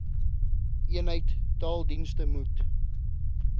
eenheid taaldienste moet